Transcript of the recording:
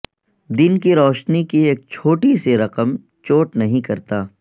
دن کی روشنی کی ایک چھوٹی سی رقم چوٹ نہیں کرتا